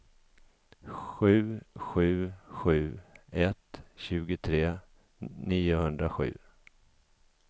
sju sju sju ett tjugotre niohundrasju